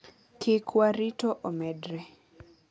"Kik warito omedre.